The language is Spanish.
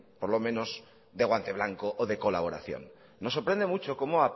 por lo menos de guante blanco o de colaboración nos sorprende mucho cómo